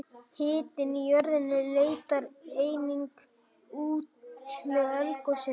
hitinn í jörðinni leitar einnig út með eldgosum